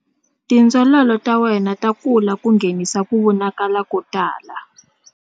Tindzololo ta wena ta kula ku nghenisa ku vonakala ko tala.